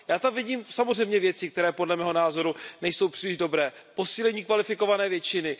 Já tam vidím samozřejmě věci, které podle mého názoru nejsou příliš dobré posílení kvalifikované většiny.